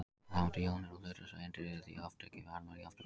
Rafeindir, jónir og hlutlausar eindir eru því oft ekki í varmajafnvægi.